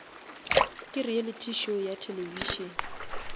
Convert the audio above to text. ke reality show ya television